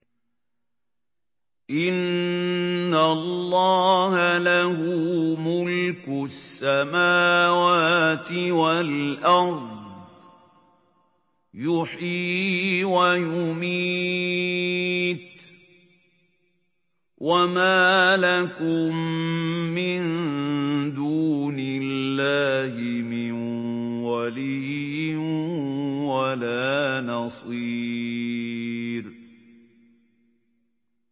إِنَّ اللَّهَ لَهُ مُلْكُ السَّمَاوَاتِ وَالْأَرْضِ ۖ يُحْيِي وَيُمِيتُ ۚ وَمَا لَكُم مِّن دُونِ اللَّهِ مِن وَلِيٍّ وَلَا نَصِيرٍ